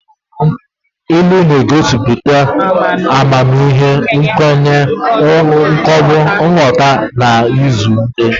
Ilu na-egosiputa amamihe, nkwenye, nghọta na izu ndi.